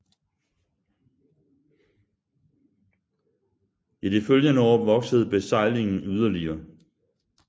I de følgende år voksede besejlingen yderligere